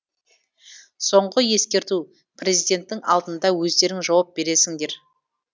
соңғы ескерту президенттің алдында өздерің жауап бересіңдер